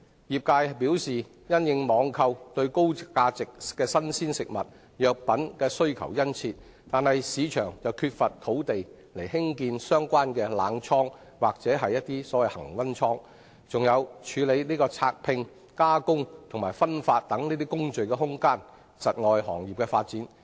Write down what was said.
業界表示，儘管網購對高價值新鮮食物及藥品的需求殷切，本港卻缺乏土地興建相關的冷倉或恆溫倉，以及處理拆拼、加工及分發等工序的設施，因而窒礙行業的發展。